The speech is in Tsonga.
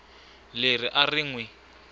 leri a ri n wi